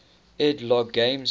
ed logg games